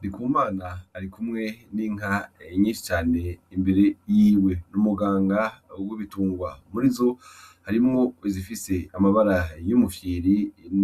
Ndikumana ari kumwe n'inka nyishi cane ,imbere yiwe n'umuganga wigobitungwa muri zo harimwo zifise amabara y'umufyiri